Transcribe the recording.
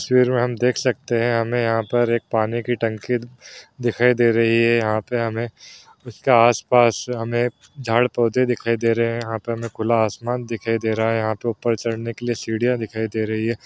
तस्वीर में जैसा हम देख सकते हैं पानी की टंकी दिखाई दे रही है यहां पर हमें उसके आस-पास झाड़ पौधे दिखाई दे रही है यहां पर खुला आसमान दिखाई दे रहा है ऊपर चढ़ने के लिए सीडिया दिखाई दे रही है ।